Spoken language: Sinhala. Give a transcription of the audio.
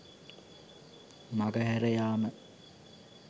මඟ හැර යාම